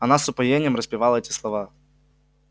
она с упоением распевала эти слова